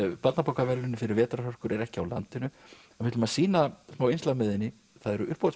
barnabókaverðlaunin fyrir vetrarhörkur er ekki á landinu en við ætlum að sýna smá innslag með henni það eru